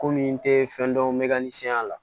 Komi n tɛ fɛn dɔn n bɛ ka ni senya la